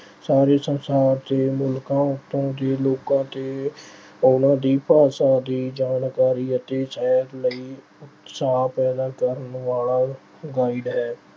ਸਾਰੇ ਸੰਸਾਰ ਦੇ ਮੁਲਕਾਂ ਉਤੋਂ ਜੇ ਲੋਕਾਂ ਤੇ ਉਹਨਾਂ ਦੀ ਭਾਸ਼ਾ ਦੀ ਜਾਣਕਾਰੀ ਅਤੇ ਸੇਧ ਲਈ ਸੇਧ ਪੈਦਾ ਕਰਨ ਵਾਲਾ guide ਹੈ।